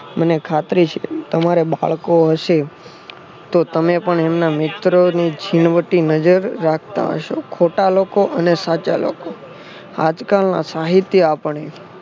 મને ખાતરી છે તમારે બાળકો હશે તો તમે પણ એમના મિત્રોને છીનવતી નજર રાખતા હશો. ખોટા લોકો અને સાચા લોકો આજકાલના સાહિત્ય આપણે